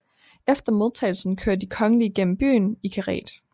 Efter modtagelsen kører de kongelige gennem byen i karet